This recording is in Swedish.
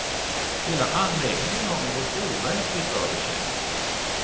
Hela anläggningen har något overkligt över sig.